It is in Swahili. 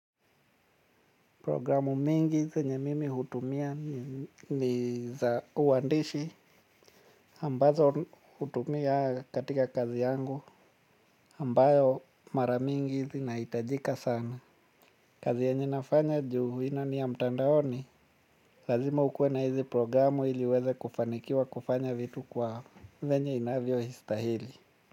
Programu nyingi zenye mimi hutumia ni za uwandishi ambazo hutumia katika kazi yangu ambayo mara nyingi zinahitajika sana. Kazi yenye nafanya juu hii nayo ni ya mtandaoni, lazima ukuwe na hizi programu iliuweze kufanikiwa kufanya vitu kwa venye inavyo stahili.